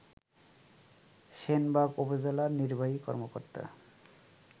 সেনবাগ উপজেলা নির্বাহী কর্মকর্তা